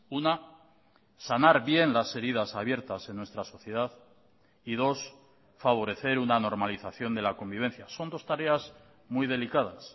una sanar bien las heridas abiertas en nuestra sociedad y dos favorecer una normalización de la convivencia son dos tareas muy delicadas